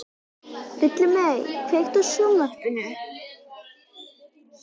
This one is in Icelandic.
Villimey, kveiktu á sjónvarpinu.